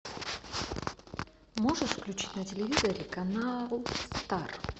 можешь включить на телевизоре канал стар